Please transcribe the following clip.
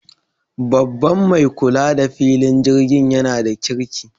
Babban mai kula da filin jirgin yana da kirki